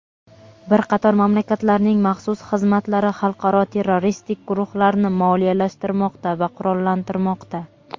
Bir qator mamlakatlarning maxsus xizmatlari xalqaro terroristik guruhlarni moliyalashtirmoqda va qurollantirmoqda.